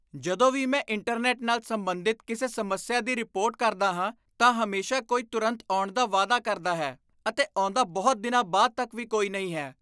ਜਦੋਂ ਵੀ ਮੈਂ ਇੰਟਰਨੈੱਟ ਨਾਲ ਸੰਬੰਧਿਤ ਕਿਸੇ ਸਮੱਸਿਆ ਦੀ ਰਿਪੋਰਟ ਕਰਦਾ ਹਾਂ ਤਾਂ ਹਮੇਸ਼ਾ ਕੋਈ ਤੁਰੰਤ ਆਉਣ ਦਾ ਵਾਅਦਾ ਕਰਦਾ ਹੈ ਅਤੇ ਆਉਂਦਾ ਬਹੁਤ ਦਿਨਾਂ ਬਾਅਦ ਤੱਕ ਵੀ ਕੋਈ ਨਹੀਂ ਹੈ।